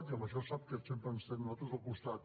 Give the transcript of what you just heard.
i en això sap que sempre ens tindrà a nosaltres al costat